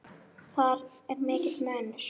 Þar er mikill munur.